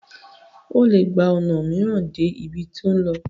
o le gba ona miiran dé ibí to n lò